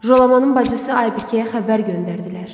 Jalamanın bacısı Aybıkəyə xəbər göndərdilər.